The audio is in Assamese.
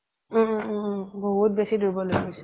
উম উম বহুত বেছি দূৰ্বল হৈ গৈছিল